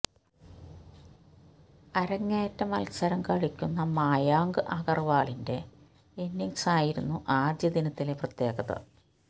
അരങ്ങേറ്റ മത്സരം കളിക്കുന്ന മായങ്ക് അഗർവാളിന്റെ ഇന്നിങ്സായിരുന്നു ആദ്യ ദിനത്തിലെ പ്രത്യേകത